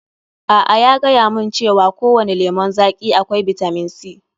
A'a, ya gayamun cewa kowani lemun zaƙi akwai bitamin C.